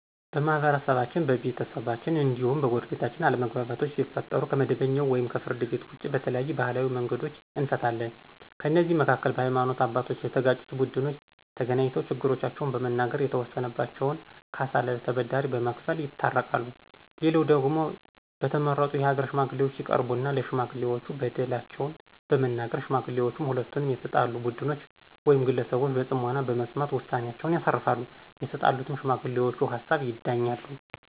በማህበረሰባችን፣ በቤተሰባችን እንዲሁም በጎረቤታችን አለመግባባቶች ሲፈጠሩ ከመደበኛው ወይም ከፍርድ ቤት ውጭ በተለያዩ ባህላዊ መንገዶች እንፈታለን። ከእነዚህም መካከል በሀይማኖት አባቶች የተጋጩት ቡድኖች ተገናኝተው ችግሮቻቸውን በመናገር የተወሰነባቸውን ካሳ ለተበዳይ በመክፈል ይታረቃሉ፣ ሌላው ደግሞ በተመረጡ የሀገር ሽማግሌዎች ይቀርቡና ለሽማጥሌዎች በደላቸውን በመናገር ሽማግሌዎችም ሁለቱንም የተጣሉ ቡድኖች ውይም ግለሰቦች በጽሞና በመስማት ውሳኔአቸውን ያሳርፋሉ፤ የተጣሉትም በሽማግሌውቹ ሀሳብ ይዳኛሉ።